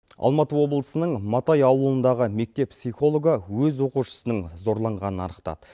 алматы облысының матай ауылындағы мектеп психологы өз оқушысының зорланғанын анықтады